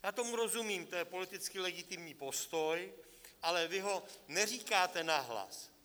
Já tomu rozumím, to je politicky legitimní postoj, ale vy ho neříkáte nahlas.